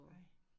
Ej